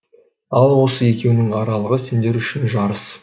ал осы екеуінің аралығы сендер үшін жарыс